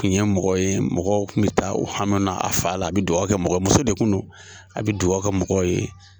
Kun ye mɔgɔ ye mɔgɔ kun bɛ taa u hami na a fan la a bɛ dugawu kɛ mɔgɔw, muso de kun no a bɛ dugawu kɛ mɔgɔ ye.